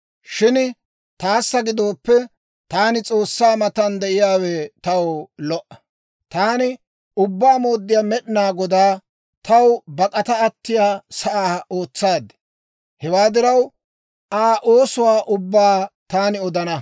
Shin taana gidooppe, taani S'oossaa matan de'iyaawe taw lo"a. Taani Ubbaa Mooddiyaa Med'inaa Godaa, taw bak'ata attiyaa sa'aa ootsaad. Hewaa diraw, Aa oosuwaa ubbaa taani odana.